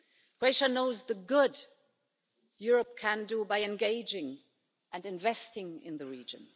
Croatia knows the good Europe can do by engaging and investing in the region.